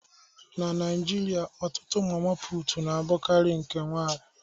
Na Naijiria, ọtụtụ mama putu na-abụkarị nke nwanyị